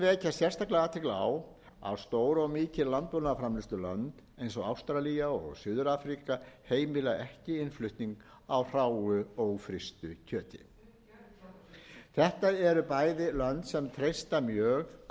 sérstaklega athygli á að stór og mikil landbúnaðarframleiðslulönd eins og ástralía og suður afríka heimila ekki innflutning á hráu ófrystu kjöti þetta eru bæði lönd sem treysta mjög